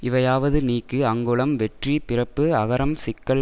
இவையாவது நீக்கு அங்குளம் வெற்றி பிறப்பு அகரம் சிக்கல்